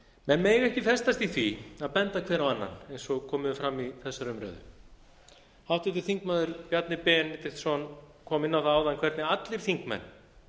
menn mega ekki festast í því að benda hver á annan eins og komið hefur fram í þessari umræðu háttvirtur þingmaður bjarni benediktsson kom inn á það áðan hvernig allir þingmenn